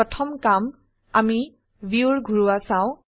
প্ৰথম কাৰ্জ আমি ভিউৰ ঘোৰোৱা চাও